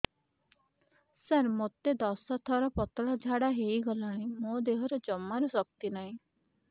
ସାର ମୋତେ ଦଶ ଥର ପତଳା ଝାଡା ହେଇଗଲାଣି ମୋ ଦେହରେ ଜମାରୁ ଶକ୍ତି ନାହିଁ